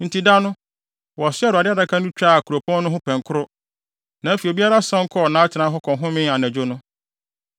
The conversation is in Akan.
Enti, da no, wɔsoaa Awurade Adaka no twaa kuropɔn no ho pɛnkoro. Na afei obiara san kɔɔ atenae hɔ kɔhomee anadwo no.